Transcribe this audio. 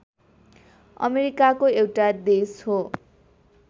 अमेरिकाको एउटा देश हो